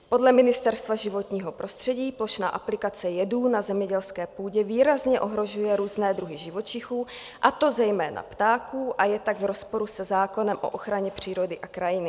Podle Ministerstva životního prostředí plošná aplikace jedů na zemědělské půdě výrazně ohrožuje různé druhy živočichů, a to zejména ptáků, a je tak v rozporu se zákonem o ochraně přírody a krajiny.